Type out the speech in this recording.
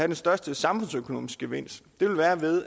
den største samfundsøkonomiske gevinst